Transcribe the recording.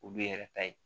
O b'i yɛrɛ ta ye